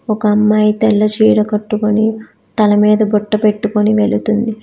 ఒక అమ్మాయి తెల్ల చీర కట్టుకొని తల మీద బొట్టు పెట్టుకొని వెళుతుంది.